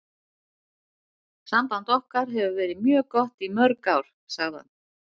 Samband okkar hefur verið mjög gott í mörg ár, sagði hann.